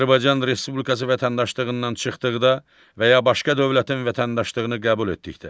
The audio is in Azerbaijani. Azərbaycan Respublikası vətəndaşlığından çıxdıqda və ya başqa dövlətin vətəndaşlığını qəbul etdikdə.